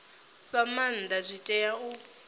fha maanda zwi tea u